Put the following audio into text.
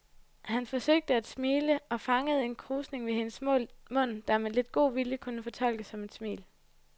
Han forsøgte at smile og fangede en krusning ved hendes mund, der med lidt god vilje kunne fortolkes som et smil.